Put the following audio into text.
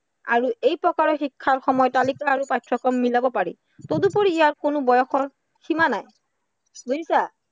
আৰু এই প্ৰকাৰৰ শিক্ষাৰ সময় তালিকা আৰু পাঠ্য়ক্ৰম মিলাব পাৰি। তদুপৰি ইয়াত কোনো বয়সৰ সীমা নাই বুজিছা?